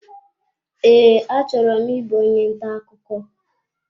Ee, achọrọ m ịbụ onye ntà ọkụkọ